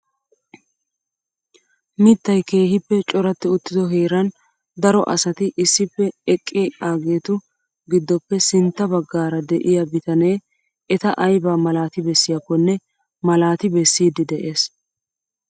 Mittaay keehippe coratti uttido heeran daro asati issippe eqqiaagetu giddoppe sintta baggaara de'iyaa bitanee eta ayba malaati bessiyaakonne malaati bessiidi de'ees!